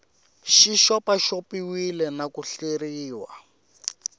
xi xopaxopiwile na ku hleriwa